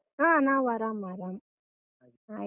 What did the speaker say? ಹಾ ನಾವ್ ಆರಾಮ್ ಆರಾಮ್. ಹಾಗೆ.